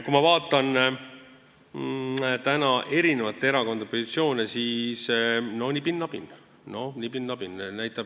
Kui ma vaatan erakondade positsioone, siis olukord on nibin-nabin.